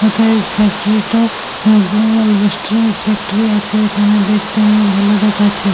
ওথায় ফ্যাক্টরিটা গো এলবাস্টারের ফ্যাক্টরি আছে এখানে দেখতে নিয়ে ভালো দেখাচ্ছে।